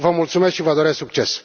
Vă mulțumesc și vă doresc succes.